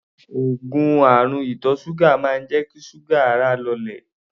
Òogùn àrùn ìtọ̀ ṣúgà máa ń jẹ́ kí ṣúgà ara lọlẹ̀.